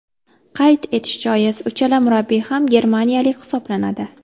Qayd etish joiz, uchala murabbiy ham germaniyalik hisoblanadi.